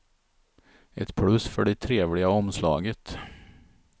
Ett plus för det trevliga omslaget.